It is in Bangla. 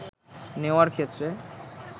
নেওয়ার ক্ষেত্রে